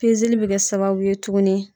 Pezeli be kɛ sababu ye tuguni